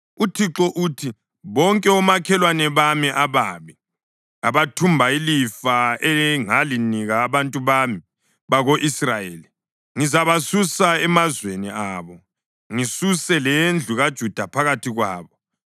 UThixo uthi: “Bonke omakhelwane bami ababi abathumba ilifa engalinika abantu bami bako-Israyeli, ngizabasusa emazweni abo ngisuse lendlu kaJuda phakathi kwabo.